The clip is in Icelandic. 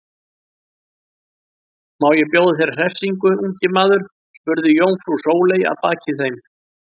Má ég bjóða þér hressingu, ungi maður? spurði jómfrú Sóley að baki þeim.